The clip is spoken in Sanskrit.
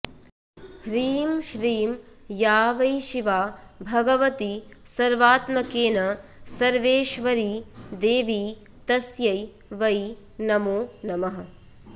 ह्रीं श्रीं या वै शिवा भगवती सर्वात्मकेन सर्वेश्वरी देवी तस्यै वै नमो नमः